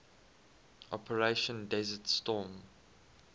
operation desert storm